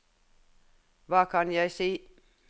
hva kan jeg si